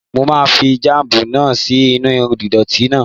Mo máa fi jáàmù náà sí inú dónààtì náà